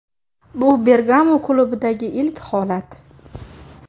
Bu Bergamo klubidagi ilk holat.